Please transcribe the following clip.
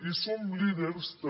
i som líders també